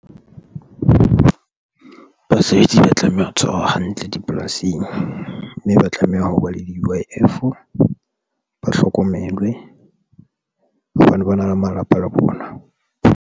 Ba basebetsi ba tlameha ho tshwarwa hantle dipolasing mme ba tlameha ho ba le di-U_I_F ba hlokomelwe hobane ba na le malapa le bona.